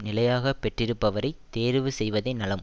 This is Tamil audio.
நிலையாக பெற்றிருப்பவரை தேர்வு செய்வதே நலம்